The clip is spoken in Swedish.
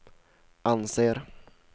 anser